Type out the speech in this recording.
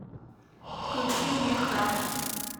включи мне храм